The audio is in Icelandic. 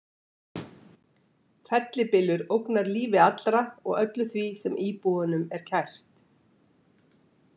Fellibylur ógnar lífi allra og öllu því sem íbúunum er kært.